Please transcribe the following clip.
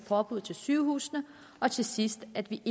forbud til sygehusene og til sidst at vi